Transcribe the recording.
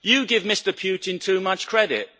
You give Mr Putin too much credit.